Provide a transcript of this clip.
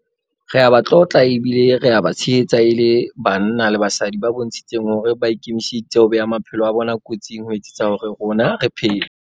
Re a ba tlotla ebile re a ba tshehetsa e le banna le basadi ba bontshitseng hore ba ikemiseditse ho bea maphelo a bona kotsing ho etsetsa hore rona re phele.